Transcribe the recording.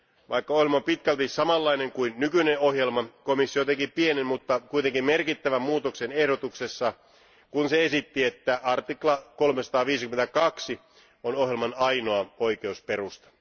Vaikka ohjelma on pitkälti samanlainen kuin nykyinen ohjelma, komissio teki pienen, mutta kuitenkin merkittävän muutoksen ehdotuksessa, kun se esitti, että 352 artikla on ohjelman ainoa oikeusperusta.